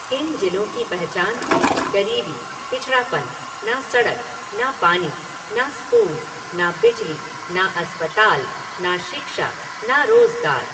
इन जिलों की पहचान थी गरीबी, पिछड़ापन, ना सड़क, ना पानी, ना स्कूल, ना बिजली, ना अस्पताल, ना शिक्षा, ना रोजगार।